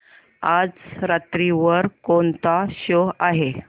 आज रात्री वर कोणता शो आहे